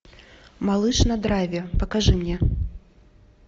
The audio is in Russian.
малыш на драйве покажи мне